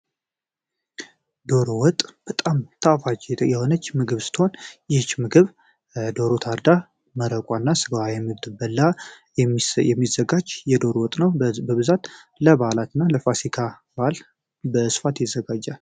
ዶሮ ወጥ በጣም ታፋጅ የሆነች ምግብ ስትሆን ይህች ምግብ ዶሮ ታርዳ መረቋ እና ስገዋ የምድብ በላ የሚዘጋች የዶር ወጥ ነው በብዛት ለባህላት እና ለፋሲካ ባል በእስፋት ይዘጋጃል።